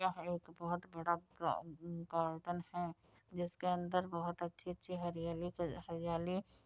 यह एक बहोत बड़ा गा-गार्डन है जिसके अंदर बहोत अच्छी अच्छी हरियाली --